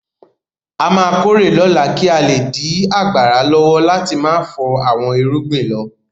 A máa kórè lọ́la kí a le dí ọgbàrà lọ́wọ́ láti má fọ àwọn irúgbìn lọ.